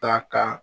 Ta ka